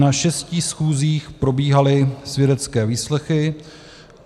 Na šesti schůzích probíhaly svědecké výslechy.